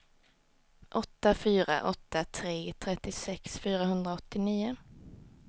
åtta fyra åtta tre trettiosex fyrahundraåttionio